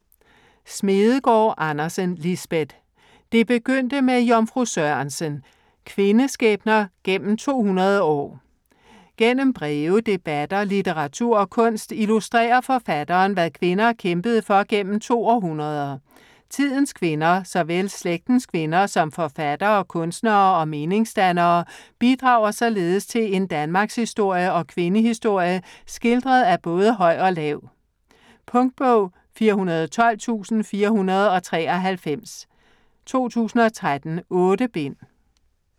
Smedegaard Andersen, Lisbeth: Det begyndte med Jomfru Sørensen: kvindeskæbner gennem 200 år Gennem breve, debatter, litteratur og kunst, illustrerer forfatteren hvad kvinder kæmpede for gennem to århundreder. Tidens kvinder, såvel slægtens kvinder som forfattere, kunstnere og meningsdannere, bidrager således til en danmarkshistorie og kvindehistorie skildret af både høj og lav. Punktbog 412493 2013. 8 bind.